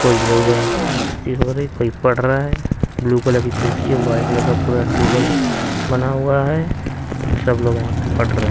मस्ती हो रही है कोई पढ़ रहा है ब्लू कलर की कुर्सी है वाइट कलर का पूरा टेबल बना हुआ है सब लोग यहां पे पढ़ रहे--